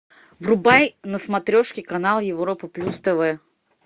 врубай на смотрешке канал европа плюс тв